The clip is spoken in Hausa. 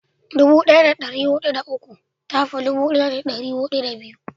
dubu daya da dari hudu da uku ta fi dubu daya da dari hudu da biyu